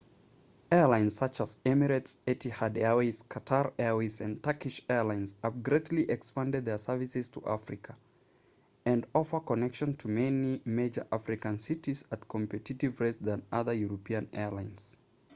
airlines such as emirates etihad airways qatar airways & turkish airlines have greatly expanded their services to africa and offer connections to many major african cities at competitive rates than other european airlines